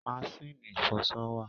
Maṣínì ìfọṣọ wà.